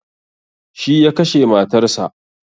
Shi ya kashe matar sa